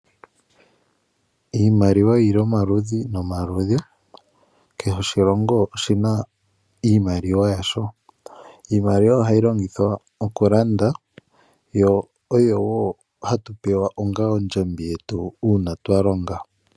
Iimaliwa oyili omaludhi nomaludhi. Kehe oshilongo oshina iimaliwa yasho. Iimaliwa ohayi longithwa oku landa, yo oyo wo hatu pewa onga ondjambi yetu uuna twa longa.